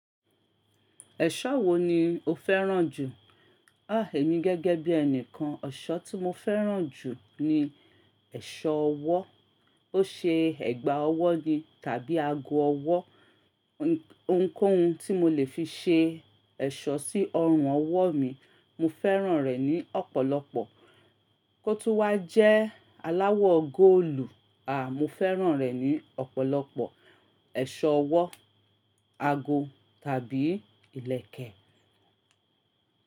Ẹ̀ṣọ́ wo ni o fẹ́ràn jù? À, èmi gẹ́gẹ́ bí ẹnìkan, ọ̀ṣọ́ tí mo fẹ́ràn jù ni ẹ̀ṣọ́ ọwọ́. Ó ṣe ẹ̀gbà ọwọ́ ni tàbí ago ọwọ́. Ohunkóhun tí mo lè fi ṣe ẹ̀ṣọ́ sí ọrùn ọwọ́ mi, mo fẹ́ràn rẹ̀ ní ọ̀pọ̀lọpọ̀. Kótún wá jẹ́ aláwọ̀ góòlù, à, mo fẹ́ràn rẹ̀ ní ọ̀pọ̀lọpọ̀. Ẹ̀ṣọ́ ọwọ́, ago tàbí ìlẹ̀kẹ̀.